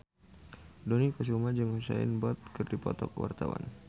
Dony Kesuma jeung Usain Bolt keur dipoto ku wartawan